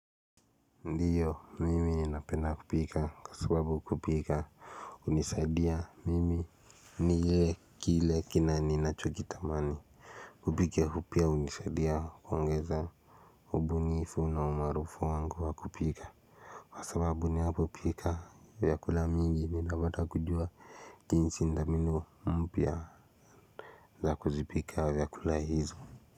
Ndiyo mimi ninapenda kupika kwa sababu kupika hunisaidia mimi. Niwe kile ninachokitamani. Kupika pia hunisaidia kuongeza ubunifu na umaarufu wangu wa kupika. Kwa sababu ninapopika vyakula mingi ninapata kujua jinsi na mbinu mpya za kuzipika vyakula hizo.